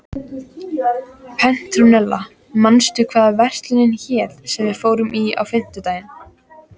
Petrúnella, manstu hvað verslunin hét sem við fórum í á fimmtudaginn?